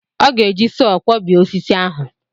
Ọ ga-eji sọọ kwọbie osisi ahụ.